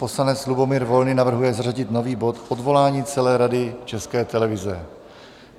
Poslanec Lubomír Volný navrhuje zařadit nový bod, Odvolání celé Rady České televize.